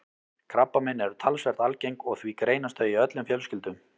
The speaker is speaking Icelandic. Krabbamein eru talsvert algeng og því greinast þau í öllum fjölskyldum.